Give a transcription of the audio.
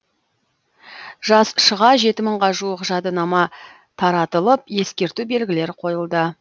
жаз шыға жеті мыңға жуық жадынама таратылып ескерту белгілері қойылды